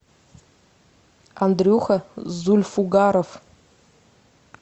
андрюха зульфугаров